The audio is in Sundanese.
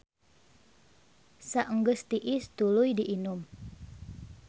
Saenggeus tiis tuluy diinum.